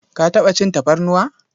Ka taɓa cin tafarnuwa?